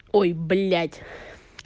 ой блять